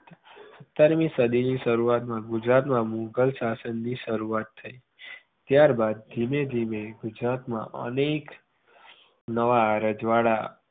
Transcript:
સત્તરમી સદીની શરૂઆતમાં ગુજરાત મા મુઘલ શાસનની શરૂવાત થઇ ત્યાર બાદ ધીમે ધીમે ગુજરાતમાં અનેક નવા રજવાડા